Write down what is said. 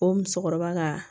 O musokɔrɔba ka